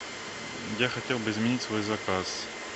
я хотел бы изменить свой заказ